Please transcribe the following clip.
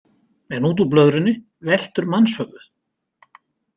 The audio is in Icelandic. En út úr blöðrunni veltur mannshöfuð.